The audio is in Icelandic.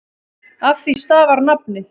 Af því stafar nafnið.